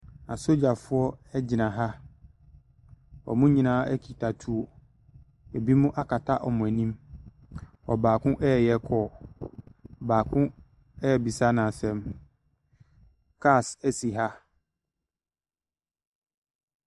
Asogyafoɔ gyina ha. Wɔn nyinaa kita tuo. Ebinom akata wɔn anim. Ɔbaako reyɛ call. Baako rebisa no asɛm. Cars si ha.